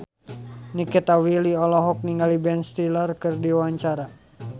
Nikita Willy olohok ningali Ben Stiller keur diwawancara